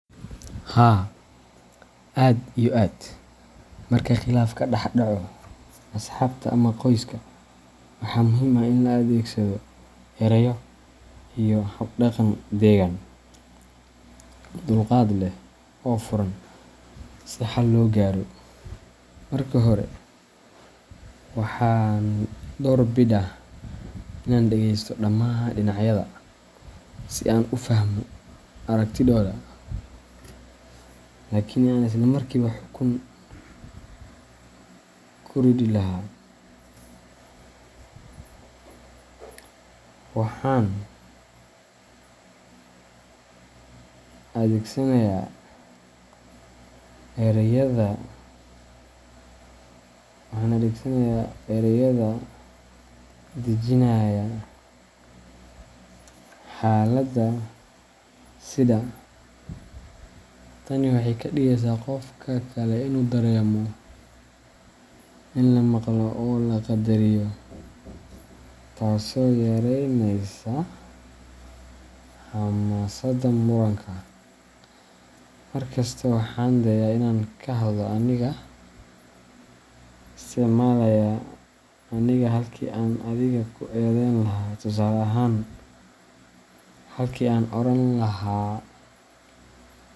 Haa aad iyo aad marka khilaaf ka dhex dhaco asxaabta ama qoyska, waxaa muhiim ah in la adeegsado erayo iyo habdhaqan degan, dulqaad leh, oo furan si xal loo gaaro. Marka hore, waxaan door bidaa inaan dhegeysto dhammaan dhinacyada si aan u fahmo aragtidooda, halkii aan isla markiiba xukun ka ridi lahaa. Waxaan adeegsadaa erayo dejinaya xaaladda sida. Tani waxay ka dhigaysaa qofka kale inuu dareemo in la maqlo oo la qadariyo, taasoo yareyneysa xamaasadda muranka. Mar kasta waxaan isku dayaa inaan ka hadlo anigoo isticmaalaya aniga halkii aan "adiga" ku eedayn lahaa, tusaale ahaan, halkii aan oran lahaa.